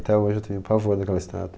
Até hoje eu tenho pavor daquela cidade.